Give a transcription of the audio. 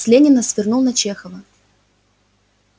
с ленина свернул на чехова